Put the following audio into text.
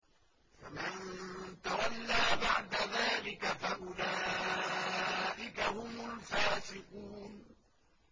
فَمَن تَوَلَّىٰ بَعْدَ ذَٰلِكَ فَأُولَٰئِكَ هُمُ الْفَاسِقُونَ